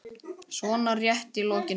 svona rétt í lokin.